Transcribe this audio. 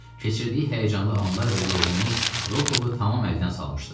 Keçirdiyi həyəcanlı anlar və yorğunluq Rokovu tam əldən salmışdı.